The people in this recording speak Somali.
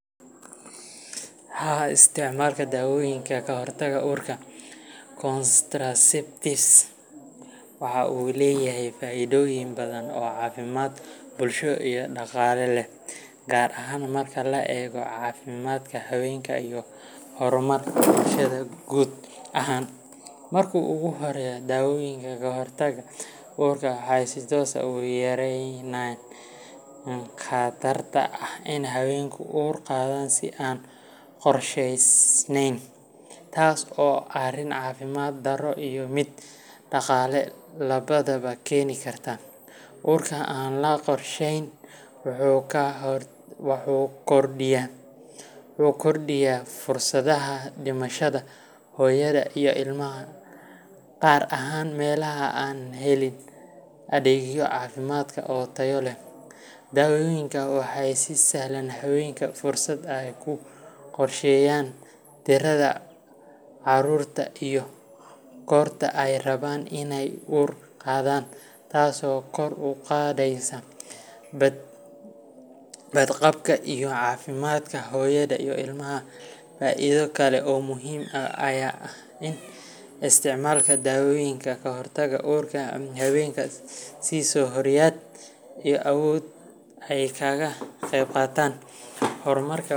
Haa, isticmaalka dawooyinka ka hortagga uurka contraceptives waxa uu leeyahay faa’iidooyin badan oo caafimaad, bulsho iyo dhaqaale leh, gaar ahaan marka la eego caafimaadka haweenka iyo horumarka bulshada guud ahaan. Marka ugu horraysa, dawooyinka ka hortagga uurka waxay si toos ah u yareeyaan khatarta ah in haweenku uur qaadaan si aan qorshaysanayn, taas oo ah arrin caafimaad darro iyo mid dhaqaale labadaba keeni karta. Uurka aan la qorshayn wuxuu kordhiyaa fursadaha dhimashada hooyada iyo ilmaha, gaar ahaan meelaha aan helin adeegyo caafimaad oo tayo leh. Dawooyinkan waxay siisaan haweenka fursad ay ku qorsheeyaan tirada carruurtooda iyo goorta ay rabaan inay uur qaadaan, taasoo kor u qaadaysa badqabka iyo caafimaadka hooyada iyo ilmaha. Faa’iido kale oo muhiim ah ayaa ah in isticmaalka dawooyinka ka hortagga uurka ay haweenka siiso xorriyad iyo awood ay kaga qaybqaataan horumarka.